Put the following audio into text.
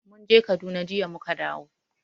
Mun je Kaduna, jiya mu ka dawo.